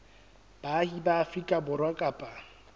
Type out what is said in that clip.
baahi ba afrika borwa kapa